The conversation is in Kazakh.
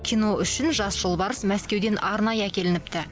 кино үшін жас жолбарыс мәскеуден арнайы әкелініпті